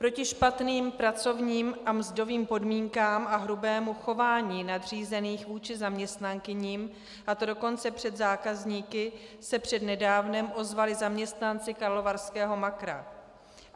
Proti špatným pracovním a mzdovým podmínkám a hrubému chování nadřízených vůči zaměstnankyním, a to dokonce před zákazníky, se přednedávnem ozvali zaměstnanci karlovarského Makra.